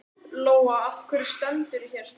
Lóa: Af hverju stendurðu hér?